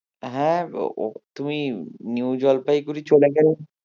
হ্যাঁ তুমি নিউ জলপাইগুড়ি চলে গেলে